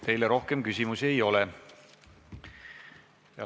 Teile rohkem küsimusi ei ole!